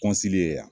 ye yan